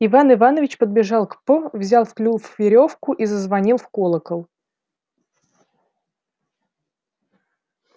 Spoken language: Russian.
иван иванович подбежал к п взял в клюв верёвку и зазвонил в колокол